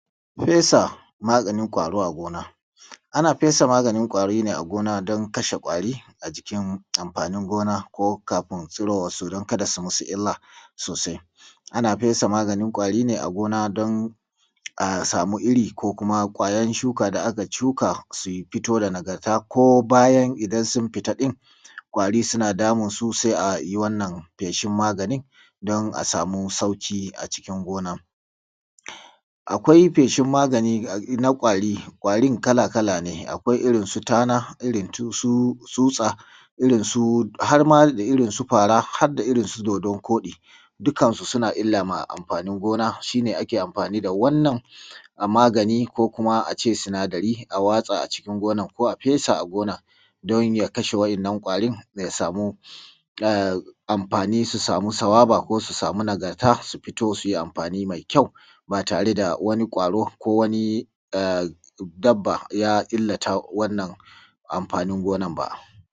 Fesa maganin kwaro a gona. Ana fesa maganin ƙwari ne a gona don kashe kwari a jikin amfanin gona ko kafin tsurowar su don kada su yi musu illa sosai. Ana fesa maganin kwari ne a gona don a samu irin ko kuma ƙwayar shuka da aka shuka su fito da nagarta ko bayan idan sun fita din ƙwari suna damunsu sai a yi feshi wannan magani din don a sama sauki a cikin gonar. Akwai feshin magani na kwari, kwarin kala-kala ne akwai irinsu; tana irinsu tsuta irinsu fara har da irinsu dodon koɗi ,dukkan su suna illa ma amfanin gona shi ake amfani da wannnan a magani ko kuma a ce sunadari a watsa a cikin gonar ko a fesa a gonar don ya kashe wadannan kwarin amfani su samu sawaba ko su samu nagarta su fito du yi amfani mai kyau ba tare da wani ƙwaro ko wani dabba ya illata wannan amfani gona ba.